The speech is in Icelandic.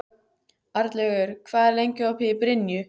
Arnlaugur, hvað er lengi opið í Brynju?